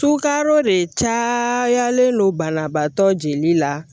Sukaro de caalen don banabaatɔ jeli la